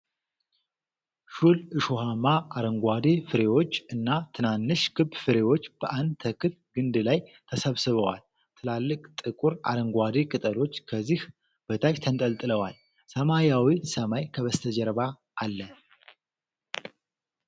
ሹል፣ እሾሃማ፣ አረንጓዴ ፍሬዎች እና ትናንሽ ክብ ፍሬዎች በአንድ ተክል ግንድ ላይ ተሰብስበዋል። ትላልቅ፣ ጥቁር አረንጓዴ ቅጠሎች ከዚህ በታች ተንጠልጥለዋል። ሰማያዊው ሰማይ ከበስተጀርባ አለ።